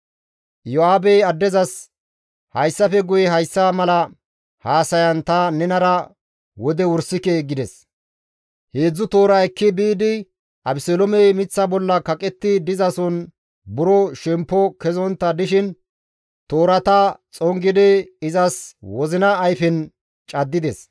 Iyo7aabey addezas, «Hayssafe guye hayssa mala haasayan ta nenara wode wursike» gides; 3 toora ekki biidi Abeseloomey miththa bolla kaqetti dizason buro shemppo kezontta dishin toorata xongidi izas wozina ayfen caddides.